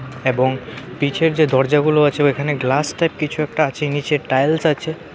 এবং পিছের যে দরজাগুলো আছে ওইখানে গ্লাস টাইপ কিছু একটা আছে নীচে টাইলস আছে .